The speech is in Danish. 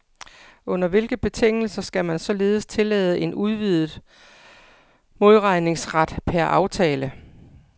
Under hvilke betingelser skal man således tillade en udvidet modregningsret per aftale?